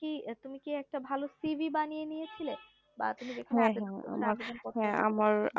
তুমি কি তুমি কি একটা ভালো CV বানিয়ে নিয়ে চিলি ভা তুমি যখন